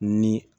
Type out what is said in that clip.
Ni